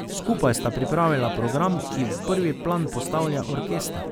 Skupaj sta pripravila program, ki v prvi plan postavlja orkester.